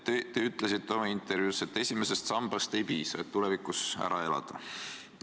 Te ütlesite oma intervjuus, et esimesest sambast ei piisa selleks, et tulevikus ära elada.